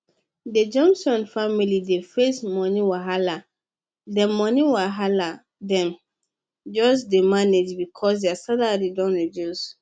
dey johnson family dey face money wahala dem money wahala dem just dey manage because their salary don reduce